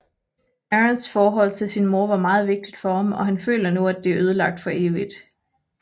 Aarons forhold til sin mor var meget vigtigt for ham og han føler nu at det er ødelagt for evigt